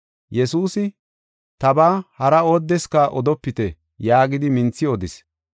Yesuusi, “Tabaa hara oodeska odopite” yaagidi minthi odis.